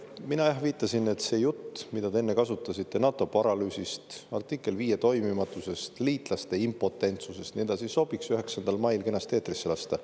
Mina viitasin, et see jutt, mida te enne rääkisite NATO paralüüsist, artikkel 5 toimimatusest, liitlaste impotentsusest ja nii edasi, sobiks 9. mail kenasti eetrisse lasta.